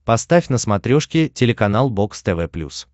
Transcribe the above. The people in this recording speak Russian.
поставь на смотрешке телеканал бокс тв плюс